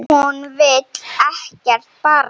Hún vill ekkert barn.